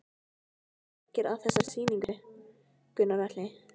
Hvað koma margir að þessari sýningu, Gunnar Atli?